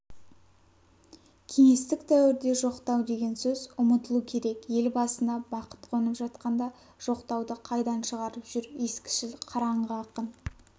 кеңестік дәуірде жоқтау деген сөз ұмытылу керек ел басына бақыт қонып жатқанда жоқтауды қайдан шығарып жүр ескішіл қараңғы ақын